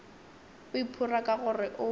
o iphora ka gore o